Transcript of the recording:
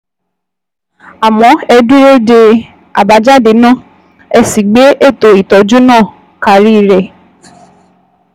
Àmọ́ ẹ dúró de àbájáde náà, ẹ sì gbé ètò ìtọ́jú náà karí rẹ̀